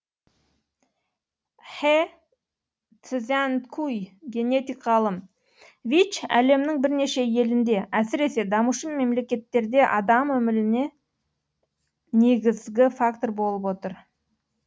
хэ цзянькуй генетик ғалым вич әлемнің бірнеше елінде әсіресе дамушы мемлекеттерде адам өліміне негізгі фактор болып отыр